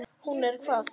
Hún er hvað.